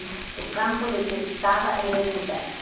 E do campo detestava era o inverno.